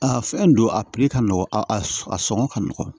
A fɛn don a piri ka nɔgɔn a sɔngɔ ka nɔgɔn